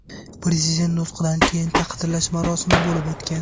Prezident nutqidan keyin taqdirlash marosimi bo‘lib o‘tgan.